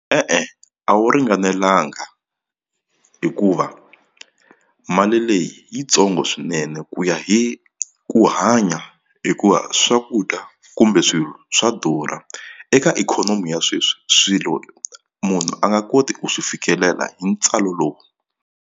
E-e a wu ringanelanga hikuva mali leyi yitsongo swinene ku ya hi ku hanya hikuva swakudya kumbe swilo swa durha eka ikhonomi ya sweswi swilo munhu a nga koti ku swi fikelela hi ntswalo lowu.